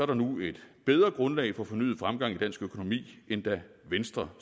der nu et bedre grundlag for fornyet fremgang i dansk økonomi end da venstre